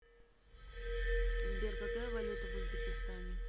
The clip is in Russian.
сбер какая валюта в узбекистане